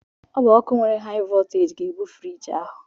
Ọ bụ ọkụ nwere haị vọlteeji ga-ebu friiji ahụ.